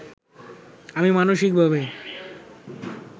আমি মানসিকভাবে